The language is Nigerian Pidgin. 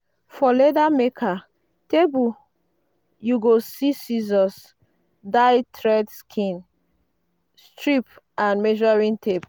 for leather maker table you go see scissors dye thread skin strip and measuring tape.